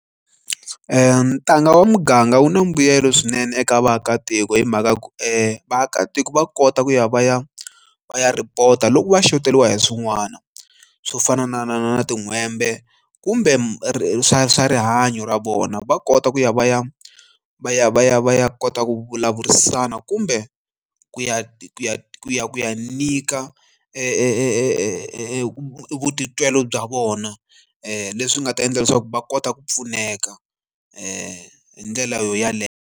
Ntanga wa muganga wu na mbuyelo swinene eka vaakatiko hi mhaka ya ku vaakatiko va kota ku ya va ya va ya report-a loko va shoteriwa hi swin'wana swo fana na na na na tin'hwembe kumbe ri swa swa rihanyo ra vona va kota ku ya va ya va ya va ya va ya kota ku vulavurisana kumbe ku ya ya ya ya nyika e vutitwi bya vona leswi nga ta endla leswaku va kota ku pfuneka hi ndlela yeleyo.